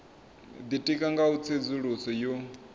ditika nga u tsedzuluso yo